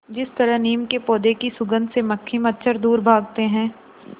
जिस तरह नीम के पौधे की सुगंध से मक्खी मच्छर दूर भागते हैं